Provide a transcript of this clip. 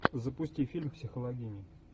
запусти фильм психологини